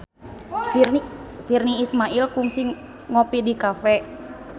Virnie Ismail kungsi ngopi di cafe